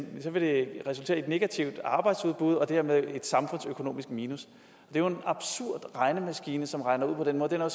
så vil det resultere i et negativt arbejdsudbud og dermed et samfundsøkonomisk minus det er jo en absurd regnemaskine som regner på den måde den er